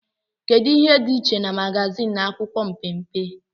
kedu ihe dị iche na magazin na akwụkwọ mpempe